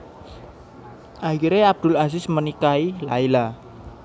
Akhire Abdul Aziz menikahi Laila